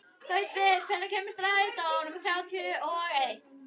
Gautviður, hvenær kemur strætó númer þrjátíu og eitt?